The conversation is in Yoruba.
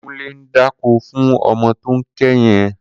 Kunle n dákó fún ọmọ tó n ké yèn